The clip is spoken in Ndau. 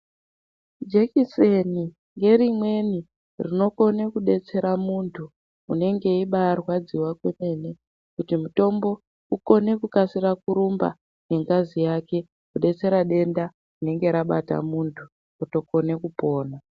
Jekiseni ngerimweni rinokone kudetsera muntu unenge eimbarwadziwa kwemene kuti mutombo ukone kukasira kurumba ngengazi yake kudetsera denda rinenge rabata muntu otokone kupona.